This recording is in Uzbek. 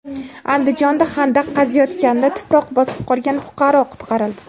Andijonda xandaq qaziyotganda tuproq bosib qolgan fuqaro qutqarildi.